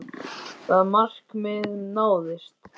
Það markmið náðist.